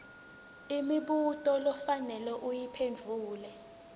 imibuto lofanele uyiphendvule